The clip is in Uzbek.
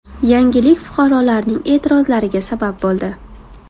Yangilik fuqarolarning e’tirozlariga sabab bo‘ldi.